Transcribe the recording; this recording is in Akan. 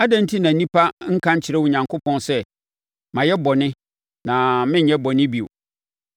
“Adɛn enti na onipa nka nkyerɛ Onyankopɔn sɛ, ‘Mayɛ bɔne na merenyɛ bɔne bio.